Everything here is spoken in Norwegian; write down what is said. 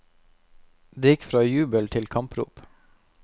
Det gikk fra jubel til kamprop.